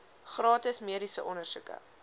gratis mediese ondersoeke